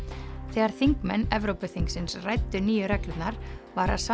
þegar þingmenn Evrópuþingsins ræddu nýju reglurnar var